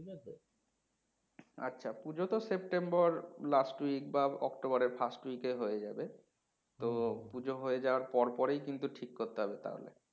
আচ্ছা পুজো তো September last week বা অক্টোবরের first week এ হয়ে যাবে তো পুজো হয়ে যাওয়ার পরপরেই কিন্তু ঠিক করতে হবে তাহলে